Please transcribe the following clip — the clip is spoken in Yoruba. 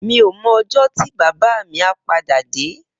Mi ó mò òjò ti bàbá mi à pàdá dé